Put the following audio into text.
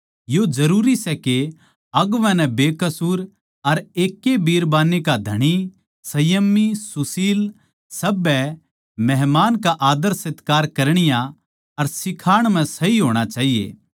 यो जरूरी सै के अगुवां नै बेकसूर अर एक ए बिरबान्नी का धणी संयमी सुशील सभ्य मेहमान का आद्दरसत्कार करणीया अर सिखाण म्ह सही होणा चाहिए